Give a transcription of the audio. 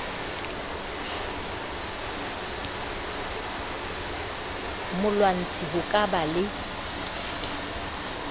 molwantshi ho ka ba le